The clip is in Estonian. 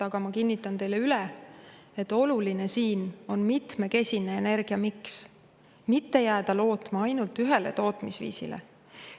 Aga ma kinnitan teile üle, et oluline on mitmekesine energiamiks, ei tohi lootma jääda ainult ühele tootmisviisile.